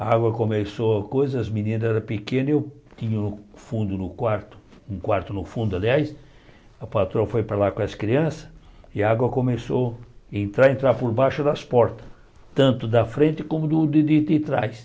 A água começou, coisa as meninas eram pequenas, eu tinha o fundo do quarto um quarto no fundo, aliás, a patroa foi para lá com as crianças, e a água começou entrar a entrar por baixo das portas, tanto da frente como do de de trás.